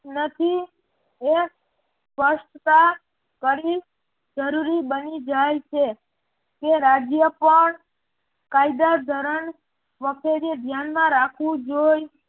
નથી હે સપષ્ટતા કરી જરૂરી બની જાય છે કે રાજ્ય પણ કાયદા ધોરણ વખતે ધ્યાનમાં રાખવું જોઈ